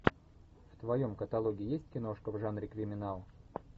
в твоем каталоге есть киношка в жанре криминал